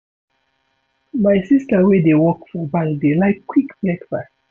My sista wey dey work for bank dey like quick breakfast.